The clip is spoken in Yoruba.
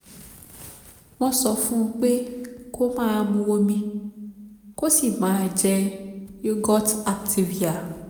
wọ́n sọ fún un pé kó máa mu omi kó sì máa jẹ yogurt activia